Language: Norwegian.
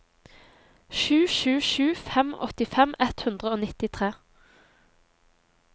sju sju sju fem åttifem ett hundre og nittitre